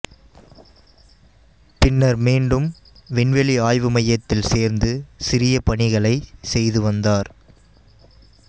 பின்னர் மீண்டும் விண்வெளி ஆய்வு மையத்தில் சேர்ந்து சிறிய பணிகளைச் செய்துவந்தார்